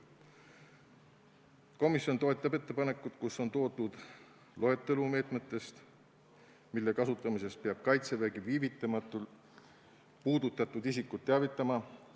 Komisjon toetab ettepanekut, kus on toodud loetelu meetmetest, mille kasutamisest peab Kaitsevägi viivitamatult puudutatud isikut teavitama.